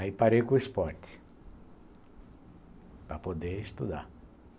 Aí parei com o esporte para poder estudar.